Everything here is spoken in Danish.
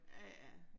Ja ja